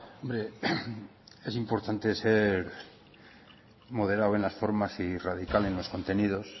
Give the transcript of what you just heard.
hombre es importante ser moderado en las formas y radical en los contenidos